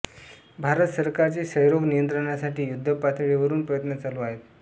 भारत सरकारचे क्षयरोग नियंत्रणासाठी युध्दपातळीवरून प्रयत्न चालू आहेत